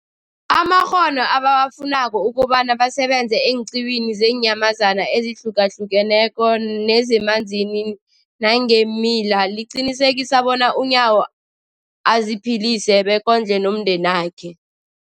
amakghono ebawafunako ukobana basebenze eenqiwini zeenyamazana ezihlukahlukeneko nezemanzini nangeemila, liqinisekisa bona uNyawo aziphilise bekondle nomndenakhe.